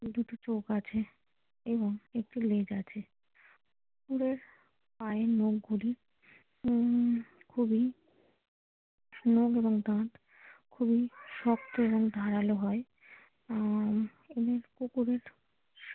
এবং একটি লেজ আছে কুকুরের পায়ের নখ গুলি উম খুবই নখ এবং দাঁত খুবই শক্ত এবং ধারালো হয় আহ এবং কুকুরের।